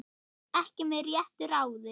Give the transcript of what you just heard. Ekki með réttu ráði?